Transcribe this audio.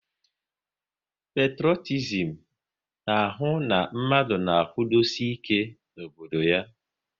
Petrotizim na ahụ na mmadụ na-akwudosi ike n'obodo ya